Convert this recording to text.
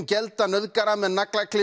gelda nauðgara með